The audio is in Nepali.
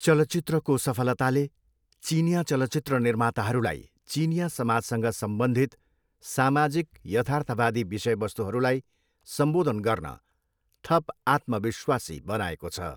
चलचित्रको सफलताले चिनियाँ चलचित्र निर्माताहरूलाई चिनियाँ समाजसँग सम्बन्धित सामाजिक यथार्थवादी विषयवस्तुहरूलाई सम्बोधन गर्न थप आत्मविश्वासी बनाएको छ।